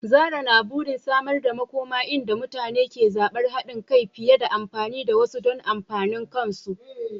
Zarah na burin samar da makoma inda mutane ke zabar haɗin kai fiye da amfani da wasu don amfanin kansu.